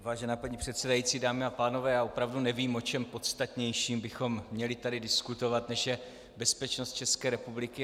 Vážená paní předsedající, dámy a pánové, já opravdu nevím, o čem podstatnějším bychom měli tady diskutovat, než je bezpečnost České republiky.